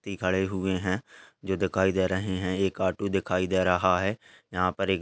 ती खड़े हुए हैं जो दिखाई दे रहें हैं एक आटू दिखाई दे रहा है यहां पर एक --